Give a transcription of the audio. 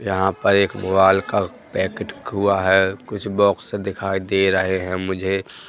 यहां पर एक मोबाइल का पैकेट हुआ है कुछ बॉक्स दिखाई दे रहे हैं मुझे--